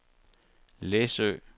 Læsø